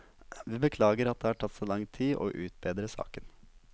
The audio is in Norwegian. Vi beklager at det har tatt så lang tid å utrede saken.